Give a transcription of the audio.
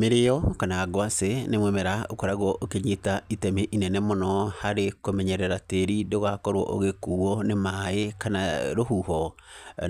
Mĩrĩo kana ngwacĩ, nĩ mũmera ũkoragwo ũkĩnyita itemi inene mũno harĩ kũmenyerera tĩri ndũgakorwo ũgĩkuuo nĩ maĩ kana rũhuho.